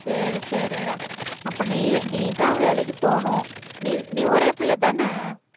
சரி சரிடா அப்ப நீ நீ தான் வேலைக்கு போணும். நீ நீ ஒரே பிள்ளை தான?